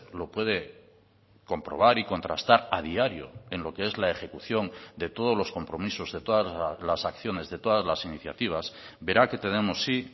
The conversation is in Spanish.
lo puede comprobar y contrastar a diario en lo que es la ejecución de todos los compromisos de todas las acciones de todas las iniciativas verá que tenemos sí